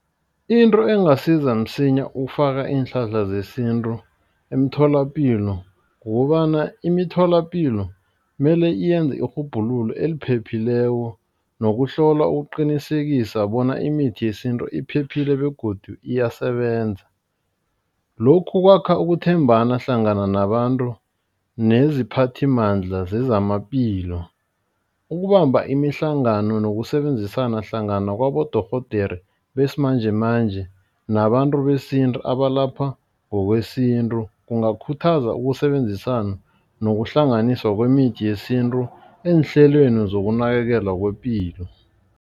Into engasiza msinya ukufaka iinhlahla zesintu emtholapilo. Kukobana imitholapilo mele iyenza irhubhululo eliphephileko nokuhlola ukuqinisekisa bona imithi yesintu iphephile begodu iyasebenza. Lokhu kwakha ukuthembana hlangana nabantu neziphathimandla zezamaphilo. Ukubamba imihlangano nokusebenzisana hlangana kwabodorhodere besimanjemanje nabantu besintu abalapha ngokwesintu. Kungakhuthaza ukusebenzisana nokuhlanganiswa kwemithi yesintu eenhlelweni zokunakekelwa kwepilo.